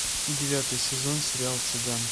девятый сезон сериал цыган